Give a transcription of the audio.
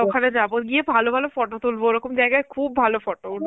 ওখানে যাবো, ওখানে গিয়ে ভালো ভালো photo তুলবো, ওরকম জায়গায় খুব ভালো photo উঠবে.